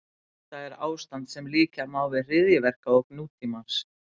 Þetta er ástand sem líkja má við hryðjuverkaógn nútímans.